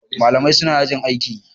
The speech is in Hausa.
Malamai suna yajin aiki.